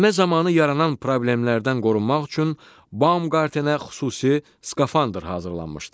Enmə zamanı yaranan problemlərdən qorunmaq üçün Bomqartenə xüsusi skafandr hazırlanmışdı.